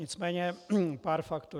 Nicméně pár faktů.